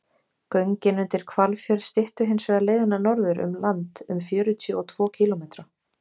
göngin undir hvalfjörð styttu hins vegar leiðina norður um land um fjörutíu og tvo kílómetra